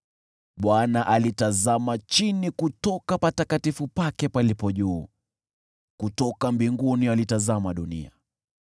“ Bwana alitazama chini kutoka patakatifu pake palipo juu, kutoka mbinguni alitazama dunia,